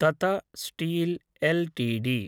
तत steel LTD